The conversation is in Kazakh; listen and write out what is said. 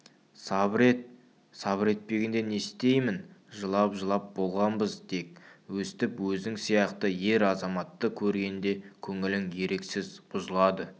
сабыр ет сабыр етпегенде не істеймін жылап-жылап болғанбыз тек өстіп өзің сияқты ер-азаматты көргенде көңілің еріксіз бұзылады